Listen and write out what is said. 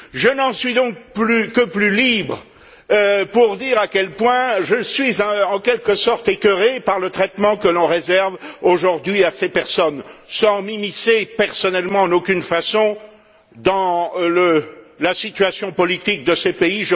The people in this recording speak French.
Je n'en suis donc que plus libre pour dire à quel point je suis en quelque sorte écœuré par le traitement que l'on réserve aujourd'hui à ces personnes, sans m'immiscer personnellement, en aucune façon, dans la situation politique de ces pays.